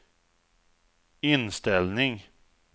inställning